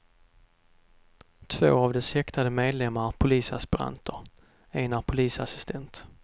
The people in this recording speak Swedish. Två av dess häktade medlemmar är polisaspiranter, en är polisassistent.